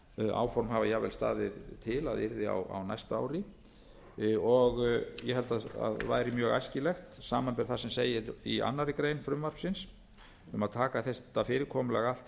áform hafa jafnvel staðið til að yrði á næsta ári ég held að væri mjög æskilegt samanber það sem segir í annarri grein frumvarpsins um að taka þetta fyrirkomulag allt